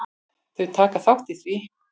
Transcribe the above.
Þau taka þátt í því.